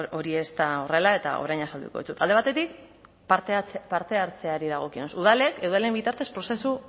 hori ez da horrela eta orain azalduko dizut alde batetik parte hartzeari dagokionez udalek eudelen bitartez prozesu